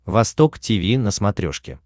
восток тиви на смотрешке